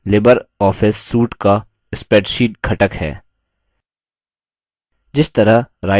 Libre office calc LibreOffice suite का spreadsheet घटक है